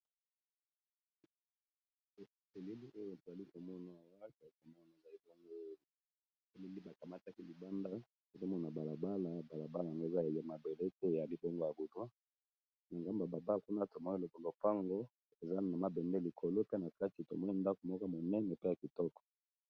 eseselili oyo toalikomonwa waka ya komona na ebango li tolindi bakamataki libanda ezomona balabala balabala yango eza aye mabele te ya libongo ya butwa na gamba baba kuna tomoyele kolopango eza na mabende likolo te na kati tomoni ndako moko monene pe ya kitoko